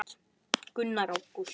Gunnar: Ágúst?